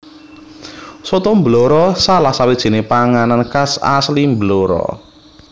Soto Blora salah sawijine panganan khas asli Blora